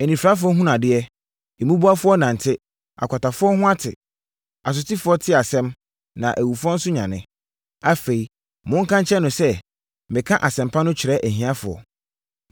anifirafoɔ hunu adeɛ, mmubuafoɔ nante, akwatafoɔ ho ate, asotifoɔ te asɛm, na awufoɔ nso nyane. Afei, monka nkyerɛ no sɛ, meka asɛmpa no kyerɛ ahiafoɔ.